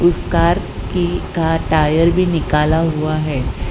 इस कार की का टायर भी निकाला हुआ है।